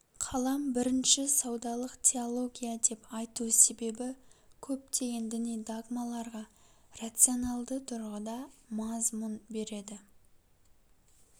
қалам бірінші саудалык теология деп айту себебі көптеген діни догмаларға рационалды тұрғыда мазмұн береді